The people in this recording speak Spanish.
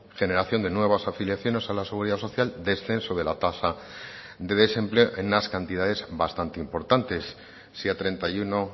generación de nuevas afiliaciones a la seguridad social descenso de la tasa de desempleo en unas cantidades bastante importantes si a treinta y uno